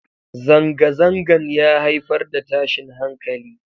Zangazangan ya haifar da tashin hankali.